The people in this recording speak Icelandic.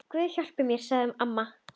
Guð hjálpi mér, sagði amma.